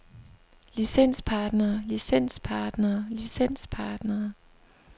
licenspartnere licenspartnere licenspartnere